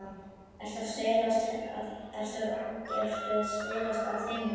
Ertu að stelast að heiman?